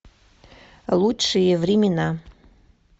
лучшие времена